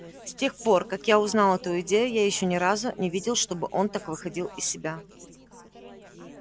с тех пор как я узнал эту идею я ещё ни разу не видел чтобы он так выходил из себя